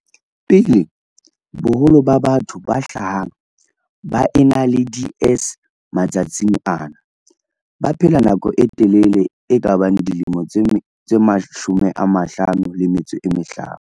pele, boholo ba batho ba hlahang ba ena le DS matsatsing ana ba baphela nako e telele e kabang dilemo tse 55.